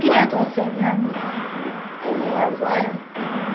Queria. Contou cem anos em em duas horas?